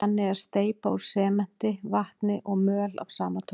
Þannig er steypa úr sementi, vatni og möl af sama toga.